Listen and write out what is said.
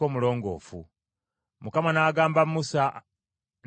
Mukama n’agamba Musa ne Alooni nti,